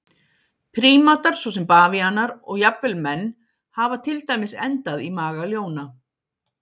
Prímatar svo sem bavíanar og jafnvel menn hafa til dæmis endað í maga ljóna.